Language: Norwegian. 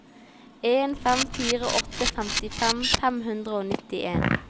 en fem fire åtte femtifem fem hundre og nittien